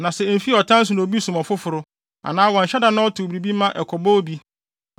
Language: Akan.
“ ‘Na sɛ emfi ɔtan so na obi sum ɔfoforo, anaa wanhyɛ da na ɔtow biribi ma ɛkɔbɔ obi,